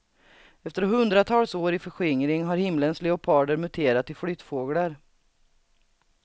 Efter hundratals år i förskingring har himlens leoparder muterat till flyttfåglar.